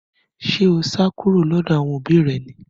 Ṣé o sá kúrò lọ́dọ̀ àwọn òbí rẹ ni